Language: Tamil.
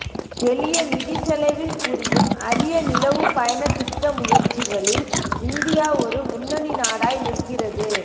எளிய நிதிச் செலவில் புரியும் அரிய நிலவுப் பயணத் திட்ட முயற்சிகளில் இந்தியா ஒரு முன்னணி நாடாய் நிற்கிறது